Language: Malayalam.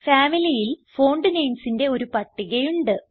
Familyൽ fontnamesന്റെ ഒരു പട്ടിക ഉണ്ട്